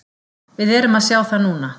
Við erum að sjá það núna.